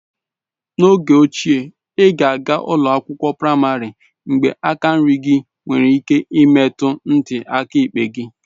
N'oge ochie, ị ga-aga ụlọ akwụkwọ praịmarị mgbe aka nri gị nwere ike imetụ ntị aka ekpe gị.